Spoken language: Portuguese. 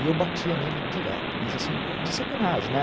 E eu batia nele direto, mas assim, de sacanagem, né?